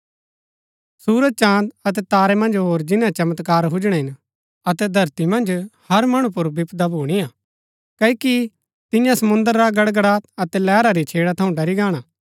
सुरज चाँद अतै तारै मन्ज होर जिन्‍नै चमत्कार हुजणै हिन अतै धरती मन्ज हर मणु पुर विपदा भूणी हा क्ओकि तियां समुंद्र रा गड़गड़ात अतै लैहरा री छेड़ा थऊँ ड़री गाणा